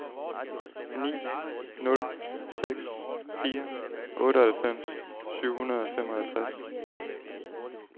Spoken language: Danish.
ni nul seks fire otteoghalvfems syv hundrede og femoghalvtreds